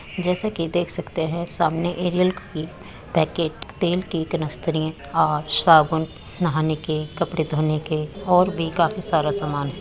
जैसा की देख सकते हैं सामने एरियल की पैकेट तेल की कनस्तरें और साबुन नहाने के कपड़े धोने के और भी काफी सारा सामान --